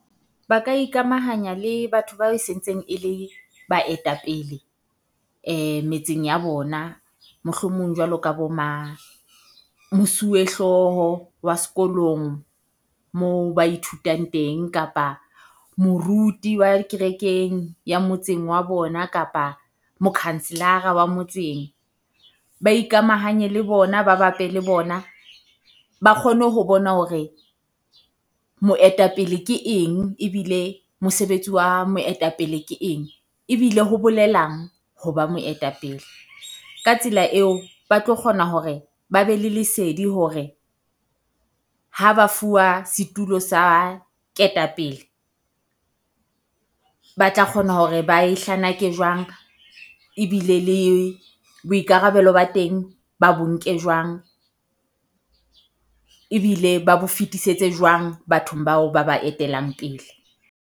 Ba ka ikamahanya le batho bae sentseng e le baetapele metseng ya bona. Mohlomong jwalo ka bo ma mosuwe hlooho wa sekolong moo ba ithutang teng, kapa moruti wa kerekeng ya motseng wa bona, kapa mokhanselara wa motseng. Ba ikamahanye le bona, ba bape le bona ba kgone ho bona hore moetapele ke eng ebile mosebetsi wa moetapele ke eng. Ebile ho bolelang ho ba moetapele, ka tsela eo, ba tlo kgona hore ba be le lesedi hore ha ba fuwa setulo sa ketapele, ba tla kgona hore ba e hlanake jwang, ebile le boikarabelo ba teng ba bo nke jwang. Ebile ba bo fetisetse jwang bathong bao ba ba etelang pele.